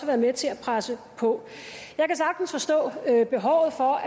været med til at presse på jeg kan sagtens forstå